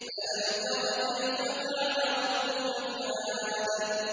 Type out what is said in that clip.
أَلَمْ تَرَ كَيْفَ فَعَلَ رَبُّكَ بِعَادٍ